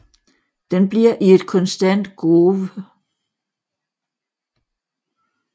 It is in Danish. Den bliver i et konstant groove